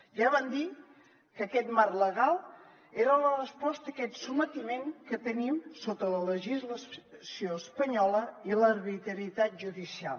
ja vam dir que aquest marc legal era la resposta a aquest sotmetiment que tenim sota la legislació espanyola i l’arbitrarietat judicial